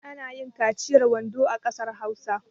Ana yin kaciyar wando a ƙasar Hausa.